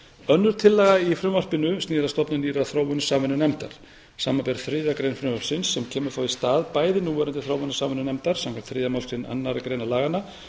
önnur tillaga í frumvarpinu snýr að stofnun nýrrar þróunarsamvinnunefndar samanber þriðju grein frumvarpsins sem kemur þá í stað bæði núverandi þróunarsamvinnunefndar samkvæmt þriðju málsgrein annarrar greinar laganna